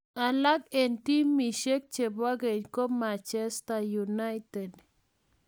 Alak engtimushe che bo keny ko Manchester United.